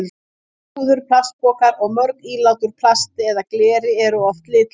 Rúður, plastpokar og mörg ílát úr plasti eða gleri eru oft litlaus.